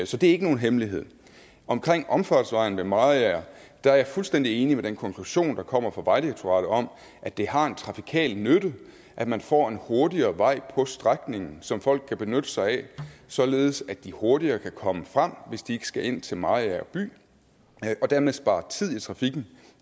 så det er ikke nogen hemmelighed omkring omfartsvejen ved mariager er jeg fuldstændig enig i den konklusion der kommer fra vejdirektoratet om at det har en trafikal nytte at man får en hurtigere vej på strækningen som folk kan benytte sig af således at de hurtigere kan komme frem hvis de ikke skal ind til mariager by og dermed spare tid i trafikken